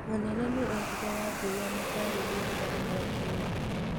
Mũnene nĩ eerire Wangũi amũtaarĩrie rũgano rwake rĩngĩ.